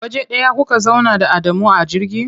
Waje ɗaya kuka zauna da Adamu a jirgi?